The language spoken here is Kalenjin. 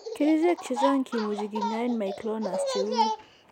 Kerichek chechang kimuche kinyaen myclonus cheuu ...